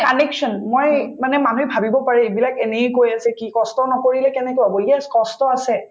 connection মই মানে মানুহে ভাবিব পাৰে এইবিলাক এনেই কৈ আছে কি কষ্ট নকৰিলে কেনেকৈ হব কষ্ট আছে